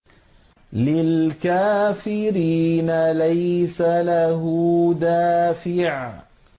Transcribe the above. لِّلْكَافِرِينَ لَيْسَ لَهُ دَافِعٌ